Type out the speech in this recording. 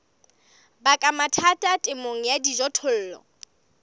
baka mathata temong ya dijothollo